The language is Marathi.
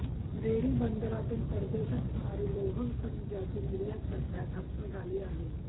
रेडी बंदरातून परदेशात होणारी लोह खनिजाची निर्यात सध्या ठप्प झाली आहे